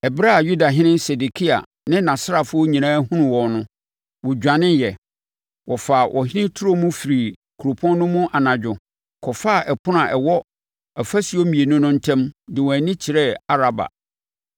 Ɛberɛ a Yudahene Sedekia ne nʼasraafoɔ nyinaa hunuu wɔn no, wɔdwaneeɛ, wɔfaa ɔhene turo mu firii kuropɔn no mu anadwo, kɔfaa ɛpono a ɛwɔ afasuo mmienu no ntam, de wɔn ani kyerɛɛ Araba.